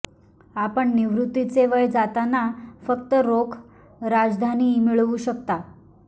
आपण निवृत्तीचे वय जातांना फक्त रोख राजधानी मिळवू शकता